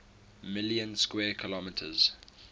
million square kilometers